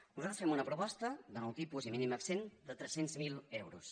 nosaltres fem una proposta de nou tipus i mínim exempt de tres cents miler euros